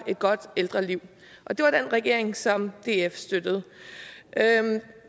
et godt ældreliv og det var den regering som df støttede